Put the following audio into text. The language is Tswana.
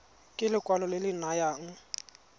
ke lekwalo le le nayang